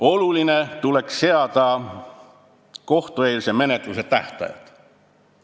Oluline oleks seada kohtueelsele menetlusele tähtajad.